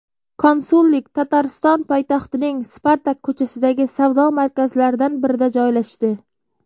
Konsullik Tatariston poytaxtining Spartak ko‘chasidagi savdo markazlaridan birida joylashdi.